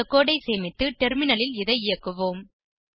இந்த கோடு ஐ சேமித்து டெர்மினலில் இதை இயக்குவோம்